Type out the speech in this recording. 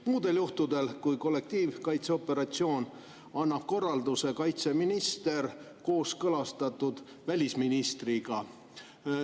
Muudel juhtudel kui kollektiivkaitseoperatsioon annab korralduse kaitseminister kooskõlastatult välisministriga.